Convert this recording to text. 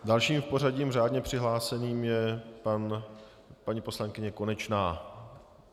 Další v pořadí řádně přihlášený je paní poslankyně Konečná.